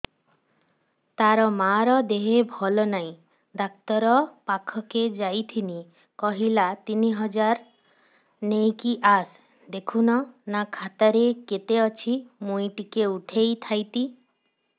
ତାର ମାର ଦେହେ ଭଲ ନାଇଁ ଡାକ୍ତର ପଖକେ ଯାଈଥିନି କହିଲା ତିନ ହଜାର ନେଇକି ଆସ ଦେଖୁନ ନା ଖାତାରେ କେତେ ଅଛି ମୁଇଁ ଟିକେ ଉଠେଇ ଥାଇତି